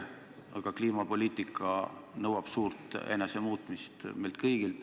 Kliimapoliitika nõuab suurt enesemuutmist meilt kõigilt.